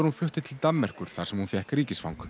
hún flutti til Danmerkur þar sem hún fékk ríkisfang